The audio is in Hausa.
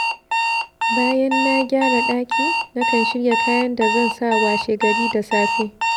Bayan na gyara ɗaki, nakan shirya kayan da zan sa washegari da safe.